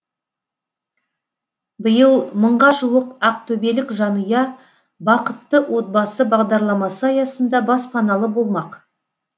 биыл мыңға жуық ақтөбелік жанұя бақытты отбасы бағдарламасы аясында баспаналы болмақ